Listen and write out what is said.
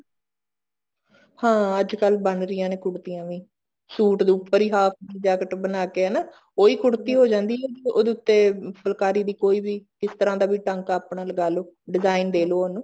ਹਾਂ ਅੱਜਕਲ ਬਣ ਰਹੀਆਂ ਨੇ ਕੁੜਤੀਆਂ ਵੀ ਸੂਟ ਦੇ ਉੱਪਰ ਹੀ half jacket ਬਣਾ ਕੇ ਹਨਾ ਉਹੀ ਕੁੜਤੀ ਹੋ ਜਾਂਦੀ ਹੈਗੀ ਉਹਦੇ ਉੱਤੇ ਫੁਲਕਾਰੀ ਦੀ ਕੋਈ ਵੀ ਕਿਸ ਤਰ੍ਹਾਂ ਦਾ ਵੀ ਟਾਂਕਾ ਆਪਣਾ ਲਗਾਲੋ design ਦੇਲੋ ਉਹਨੂੰ